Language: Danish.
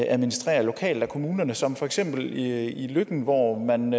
administreret lokalt af kommunerne som for eksempel i løkken hvor man